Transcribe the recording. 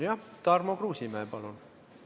Tarmo Kruusimäe, palun!